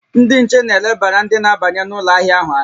Ndị nche na-elebara ndị na-abanye n'ụlọ ahịa ahụ anya